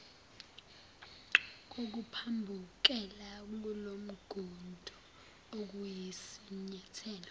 kokuphambukela kulomgudu okuyisinyathelo